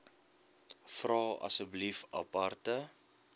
vra asseblief aparte